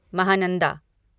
Mahananda